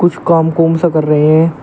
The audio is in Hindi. काम कौन सा कर रहे हैं।